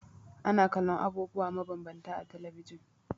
Ana kallon abubuwa mabambanta a talabijin.